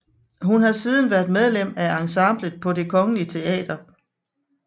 Hun har siden været medlem af ensemblet på Det Kongelige Teater